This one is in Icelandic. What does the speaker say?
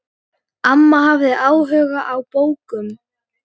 Amma hafði áhuga á bókum.